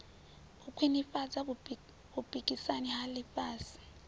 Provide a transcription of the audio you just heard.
u khwinifhadza vhupikisani ha ḽifhasi